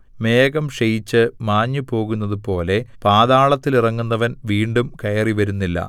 മേഘം ക്ഷയിച്ച് മാഞ്ഞുപോകുന്നതുപോലെ പാതാളത്തിലിറങ്ങുന്നവൻ വീണ്ടും കയറിവരുന്നില്ല